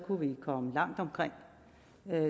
kunne vi komme langt omkring